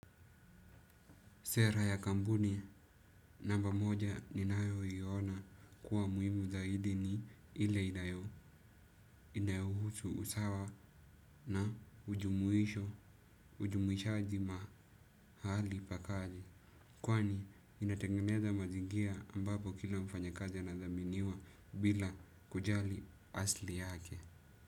Sera ya kampuni, namba moja ninayo iona kuwa muhimu zaidi ni ile inayo inayouhusu usawa na ujumuisho, ujumuishaji mahali pa kazi. Kwani, inatengeneza mazingira ambapo kila mfanyakazi anathaminiwa bila kujali asili yake.